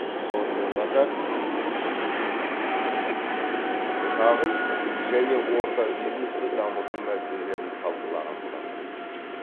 сонымен қатар шағын және орта бизнесті дамыту мәселелерін талқылаған болатын